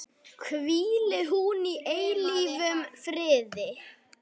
Hvíli hún í eilífum friði.